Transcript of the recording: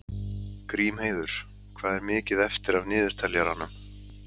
Grímheiður, hvað er mikið eftir af niðurteljaranum?